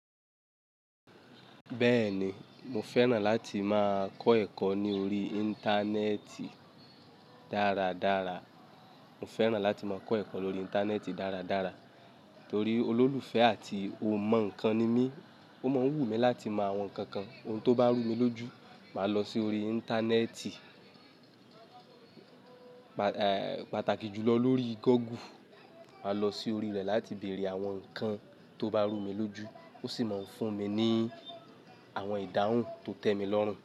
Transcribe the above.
Bẹ́ẹ̀ni, mo fẹ́ràn láti máa kọ́ ẹ̀kọ́ ní orí Íńtánẹ́ẹ̀tì dáradára. Mo fẹ́ràn láti máa kọ́ ẹ̀kọ́ lórí Íńtánẹ́ẹ̀tì dáradára torí olólùfẹ́ àti ó mọ nnkan ni mí. Ó máa ń wù mí láti mọ àwọn nǹkan kan ohun tó bá rú mi lójú, màá lọ sí orí Íńtánẹ́ẹ̀tì, pàtàkì jùlọ lórí Google. Màá lọ sí orí rẹ̀ láti bèèrè àwọn nǹkan tó bá rú mi lójú. Ó sì máa ń fún mi ní àwọn ìdáhùn tó tẹ́mi lọ́rùn.